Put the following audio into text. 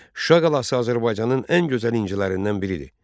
Şuşa qalası Azərbaycanın ən gözəl incilərindən biridir.